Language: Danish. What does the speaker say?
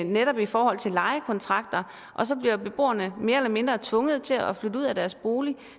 netop i forhold til lejekontrakter og så bliver beboerne mere eller mindre tvunget til at flytte ud af deres bolig